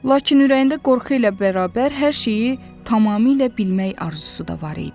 Lakin ürəyində qorxu ilə bərabər hər şeyi tamamilə bilmək arzusu da var idi.